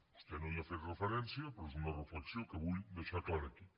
vostè no hi ha fet referència però és una reflexió que vull deixar clara aquí